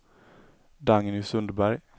Dagny Sundberg